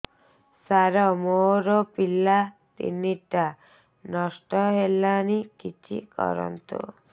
ସାର ମୋର ପିଲା ତିନିଟା ନଷ୍ଟ ହେଲାଣି କିଛି କରନ୍ତୁ